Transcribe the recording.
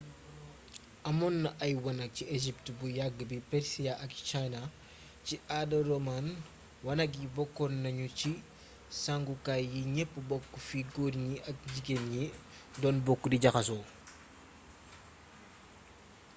amoonna ay wanak ci egypt bu yagg bi persia ak china ci aada roaman wanak yi bokkon nagnu ci sangu kaay yi gneepp bokk fi goor gni ak jigén gni doon bokk di jaxaso